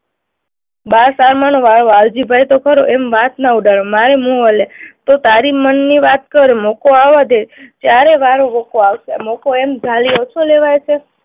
બસ વાલજીભાઈ તો ખરો, એમ વાત ના ઉડાડો. તો તારી મનની વાત કર. મોકો આવવા દે, ત્યારે વારો, મોકો, મોકો એમ ઝાલી ઓછો લેવાય છે?